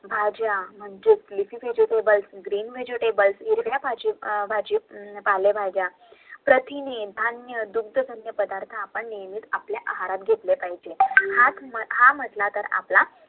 भाज्या म्हणजेच leafy vegetables GREEN VEGETABLE हिरव्या पालेभाज्या मेथी दूध हे नेहमीच आपल्या आहारात घेतले पाहीजे